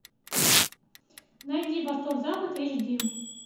найди восток запад эйч ди